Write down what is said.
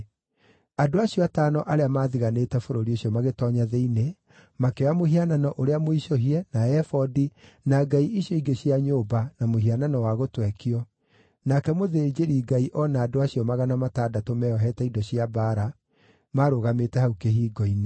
Andũ acio atano arĩa maathigaanĩte bũrũri ũcio magĩtoonya thĩinĩ, makĩoya mũhianano ũrĩa mũicũhie, na ebodi, na ngai icio ingĩ cia nyũmba na mũhianano wa gũtwekio, nake mũthĩnjĩri-Ngai o na andũ acio magana matandatũ meeohete indo cia mbaara maarũgamĩte hau kĩhingo-inĩ.